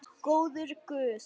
Góður guð.